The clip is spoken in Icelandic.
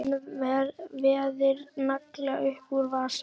Hann veiðir nagla upp úr vasanum.